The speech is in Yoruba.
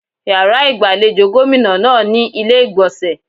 Yàrá ìgbàlejò gómìnà náà ní ilé ìgbọ̀nsẹ̀.